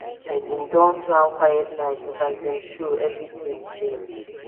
i bin don plan quiet night but as dem show everything change